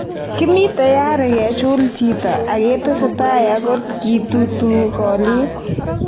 "Kimii tayari kechul chito aketesetai aklt kitutuu koliik".